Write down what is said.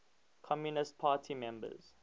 communist party members